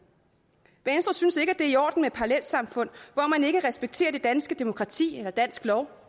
venstre synes ikke er i orden med parallelsamfund hvor man ikke respekterer det danske demokrati eller dansk lov